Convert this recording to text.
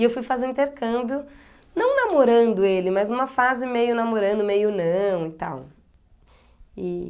E eu fui fazer intercâmbio, não namorando ele, mas numa fase meio namorando, meio não e tal.